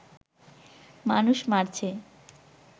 মানুষ মারছে